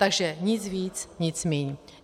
Takže nic víc, nic míň.